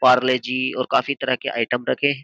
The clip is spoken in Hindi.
पारले जी और काफी तरह के आइटम रखे हैं।